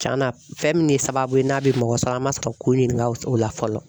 Tiɲɛn na fɛn min ye sababu ye n'a bɛ mɔgɔ sɔrɔ an ma sɔrɔ k'o ɲininka o la fɔlɔ